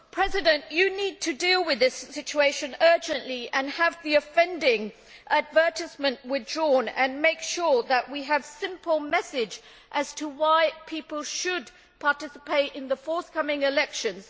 Mr President, you need to deal with this situation urgently, have the offending advertisement withdrawn and make sure that we have a simple message as to why people should participate in the forthcoming elections.